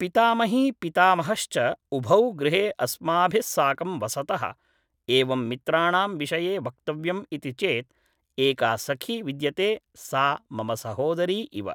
पितामही पितामहश्च उभौ गृहे अस्माभिस्साकं वसतः, एवं मित्राणां विषये वक्तव्यम् इति चेत् एका सखी विद्यते सा मम सहोदरी इव